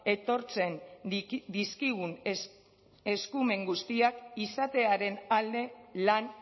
etortzen dizkigun eskumen guztiak izatearen alde lan